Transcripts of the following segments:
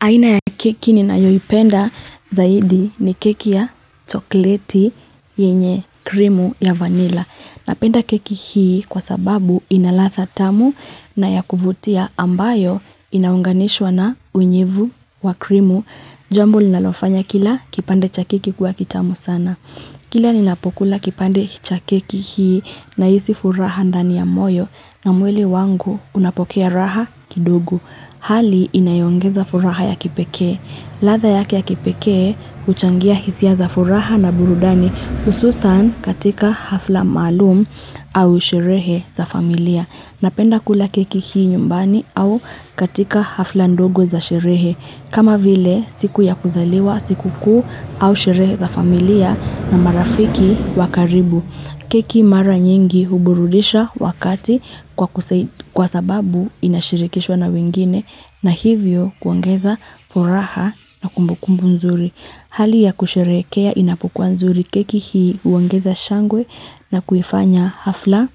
Aina ya keki ninaayo ipenda zaidi ni keki ya chokleti yenye krimu ya vanila. Napenda keki hii kwa sababu inaladhaa tamu na ya kuvutia ambayo inaunganishwa na unyevu wa krimu. Jambo linalofanya kila kipande cha keki kuwa kitamu sana. Kila ninapokula kipande cha keki hii nahisi furaha ndani ya moyo na mwili wangu unapokea raha kidogo Hali inayoongeza furaha ya kipekee. Ladhaa yake kipekee huchangia hisia za furaha na burudani hususan katika hafla maalum au sherehe za familia. Napenda kula keki hii nyumbani au katika hafla ndogo za sherehe. Kama vile siku ya kuzaliwa, sikukuu au sherehe za familia na marafiki wa karibu. Keki mara nyingi huburudisha wakati kwa sababu inashirikishwa na wengine na hivyo kuongeza furaha na kumbukumbu nzuri. Hali ya kusherehekea inapokuwa nzuri keki hii unaongeza shangwe na kuifanya hafla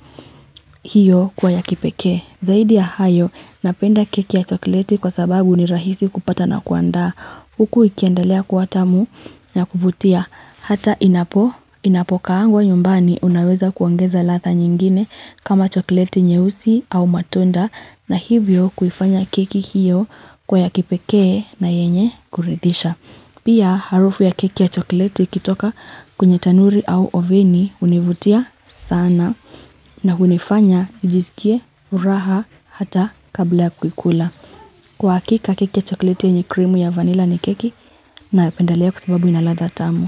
hiyo kuwa ya kipeke. Zaidi ya hayo, napenda keki ya chokleti kwa sababu ni rahisi kupata na kuanda. Huku ikiendelea kuwa tamu ya kuvutia. Hata inapo, inapokaangwa nyumbani unaweza kuongeza ladha nyingine kama chokleti nyeusi au matunda na hivyo kuifanya keki hiyo kuwa ya kipeke na yenye kuridhisha Pia harufu ya keki ya choklete ikitoka kwenye tanuri au oveni univutia sana na hunifanya nijisikie furaha hata kabla ya kukula. Kwa hakika keki ya chokleti yenye krimu ya vanilla ni keki ninayopendelea kwasababu inaladha tamu.